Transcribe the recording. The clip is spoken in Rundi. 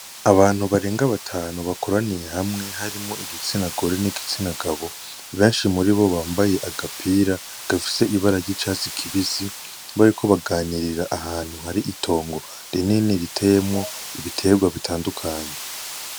Abantu barenga batanu bakoraniye hamwe harimwo igitsina gore, n'igitsina gabo. Benshi muribo bambaye agapira gafise ibara ry'icatsi kibisi, bariko baganirira ahantu hari itongo rinini riteyemwo ibitegwa bitandukanye.